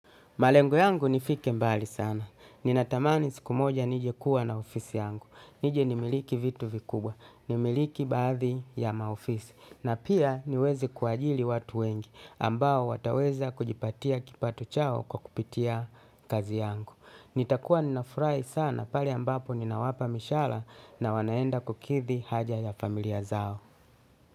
Malengo yangu nifike mbali sana. Ninatamani siku moja nije kuwa na ofisi yangu. Nije nimiliki vitu vikubwa. Nimiliki bathi ya maofisi. Na pia niweze kuajili watu wengi ambao wataweza kujipatia kipato chao kwa kupitia kazi yangu. Nitakua ninafurahi sana pale ambapo ninawapa mishahara na wanaenda kukidhi haja ya familia zao.